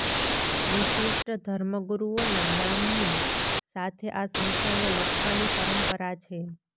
વિશિષ્ટ ધર્મગુરૂઓનાં નામની સાથે આ સંખ્યાને લખવાની પરંપરા છે